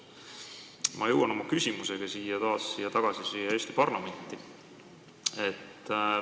Mina jõuan oma küsimusega taas siia Eesti parlamenti tagasi.